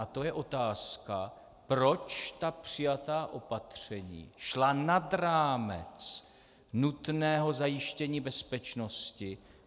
A to je otázka, proč ta přijatá opatření šla nad rámec nutného zajištění bezpečnosti.